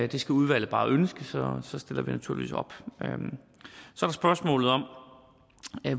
det skal udvalget bare ønske så stiller vi naturligvis op så er spørgsmålet om